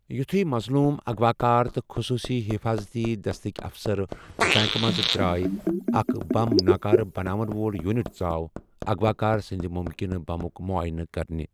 یُتُھیہ مظلوُم ، اغوا كار ، تہٕ خصوصی حفاضتی دستٕكہِ افسر بینٛکہٕ منٛزٕ درٛایہِ، اَکھ بَم ناكارٕ بناون وول یوِٗٹ ژاو اغوا كار سٕندِ مٗمكِنہٕ بمٗك مٗعاینہٕ كرنہِ ۔